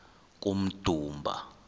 kummdumba